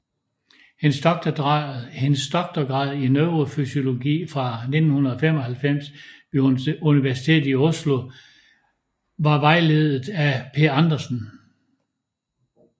Hendes doktorgrad i neurofysiologi fra 1995 ved Universitetet i Oslo var vejledet af Per Andersen